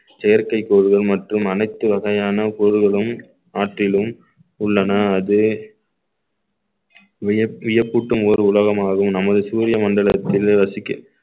செயற்கை கோள்கள் மற்றும் அனைத்து வகையான பொருள்களும் ஆற்றிலும் உள்ளன அது வியப்~ வியப்பூட்டும் ஒரு உலகமாகும் நமது சூரிய மண்டலத்தில் வசிக்க